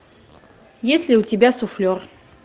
есть ли у тебя суфлер